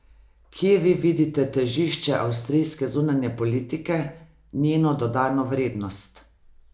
Kje vi vidite težišče avstrijske zunanje politike, njeno dodano vrednost?